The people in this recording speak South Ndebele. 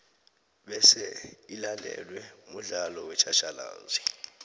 bese ilandelwe mudlalo wetjhatjhalazi